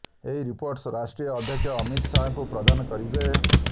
ଏହି ରିପୋର୍ଟ ରାଷ୍ଟ୍ରୀୟ ଅଧ୍ୟକ୍ଷ ଅମିତ ଶାହାଙ୍କୁ ପ୍ରଦାନ କରିବେ